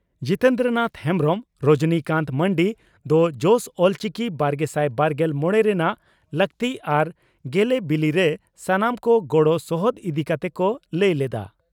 ᱡᱤᱛᱮᱱᱫᱨᱚᱱᱟᱛᱷ ᱦᱮᱢᱵᱽᱨᱚᱢ ᱨᱚᱡᱚᱱᱤ ᱠᱟᱱᱛ ᱢᱟᱱᱰᱤ ᱫᱚ 'ᱡᱚᱥ ᱚᱞᱪᱤᱠᱤᱼᱵᱟᱨᱜᱮᱥᱟᱭ ᱵᱟᱨᱜᱮᱞ ᱢᱚᱲᱮ ' ᱨᱮᱱᱟᱜ ᱞᱟᱠᱛᱤ ᱟᱨ ᱜᱮᱞᱮᱵᱤᱞᱤᱨᱮ ᱥᱟᱱᱟᱢ ᱠᱚ ᱜᱚᱲᱚ ᱥᱚᱦᱚᱫ ᱤᱫᱤ ᱠᱟᱛᱮ ᱠᱚ ᱞᱟᱹᱭ ᱞᱮᱫᱼᱟ ᱾